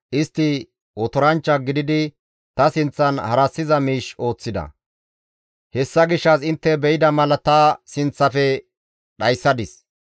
Istti otoranchcha gididi ta sinththan harassiza miish ooththida; hessa gishshas intte be7ida mala ta sinththafe dhayssadis.